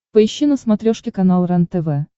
поищи на смотрешке канал рентв